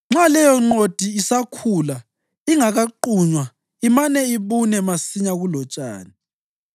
Nxa leyonqodi isakhula ingakaqunywa imane ibune masinyane kulotshani.